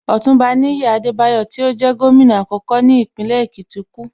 Ọ̀túnba Níyì Adebayo tí ó jẹ́ Gómìnà àkọ́kọ́ ní Ìpínlẹ̀ Èkìtì kú